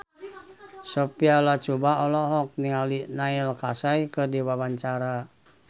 Sophia Latjuba olohok ningali Neil Casey keur diwawancara